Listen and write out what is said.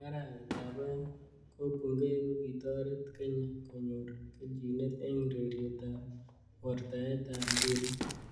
Eng arawet ab aeng ko bungei kokitoret Kenya konyor keljinet eng ureriet ab wortaet ab mpiret.